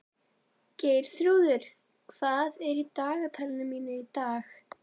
Geirþrúður, hvað er í dagatalinu mínu í dag?